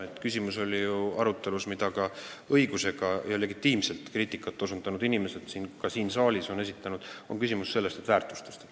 Nagu ka osa inimesi siin saalis õigusega legitiimselt kriitikat tehes on osutanud, küsimus on väärtustes.